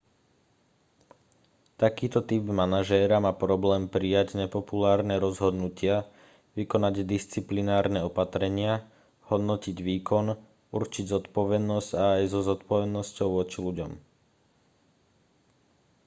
takýto typ manažéra má problém prijať nepopulárne rozhodnutia vykonať disciplinárne opatrenia hodnotiť výkon určiť zodpovednosť a aj so zodpovednosťou voči ľuďom